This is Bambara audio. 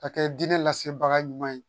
Ka kɛ diinɛ lase baga ɲuman ye